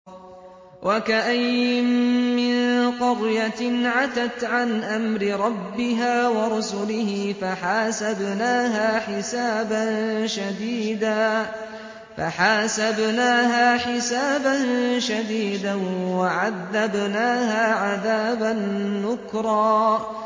وَكَأَيِّن مِّن قَرْيَةٍ عَتَتْ عَنْ أَمْرِ رَبِّهَا وَرُسُلِهِ فَحَاسَبْنَاهَا حِسَابًا شَدِيدًا وَعَذَّبْنَاهَا عَذَابًا نُّكْرًا